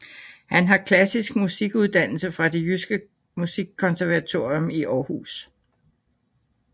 Han har klassisk musikuddannelse fra Det Jyske Musikkonservatorium i Århus